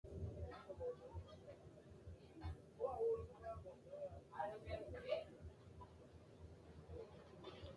baadi xagga yaa mayyate? baadi xagga addintanni manna kaa'litannonso dikaa'litanno? baadi xagga aanno manchi haqqu xagicho ikkino gede mayiinni afi?